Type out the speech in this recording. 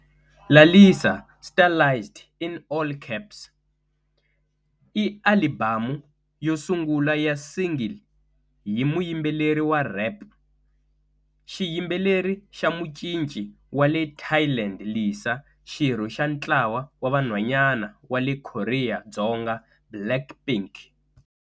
Lalisa, stylized in all caps, i alibamu yo sungula ya single hi muyimbeleri wa rhep, xiyimbeleri na mucinci wa le Thailand Lisa, xirho xa ntlawa wa vanhwanyana wa le Korea Dzonga Blackpink.